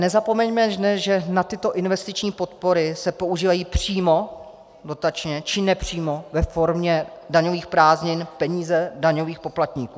Nezapomeňme, že na tyto investiční podpory se používají přímo dotačně, či nepřímo ve formě daňových prázdnin peníze daňových poplatníků.